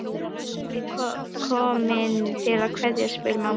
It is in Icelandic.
Eruð þið komin til að kveðja, spyr mamma.